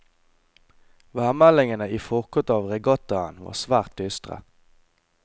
Værmeldingene i forkant av regattaen var svært dystre.